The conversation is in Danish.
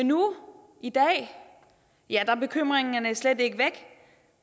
nu i dag er bekymringerne slet ikke væk